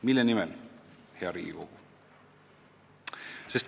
Mille nimel me tegutseme, hea Riigikogu?